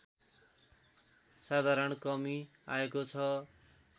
साधारण कमी आएको छ